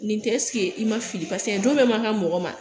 Nin tɛ ɛseke i ma fili paseke don bɛɛ man kan ka mɔgɔ ma.